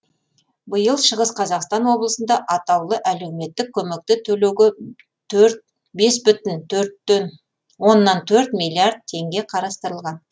биыл шығыс қазақстан облысында атаулы әлеуметтік көмекті төлеуге төрт бес бүтін төрттен оннан төрт миллиард теңге қарастырылған